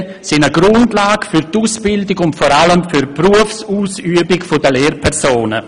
Lehrpläne sind eine Grundlage für die Ausbildung und vor allem für die Berufsausübung der Lehrpersonen.